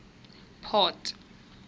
port